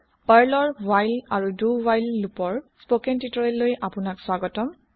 পাৰ্লৰ হোৱাইল আৰু দো হুৱাইল লোপৰ স্পকেন তিউতৰিয়েললৈ আপোনালোকক স্বাগতম